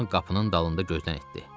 Con qapının dalında gözdən itdi.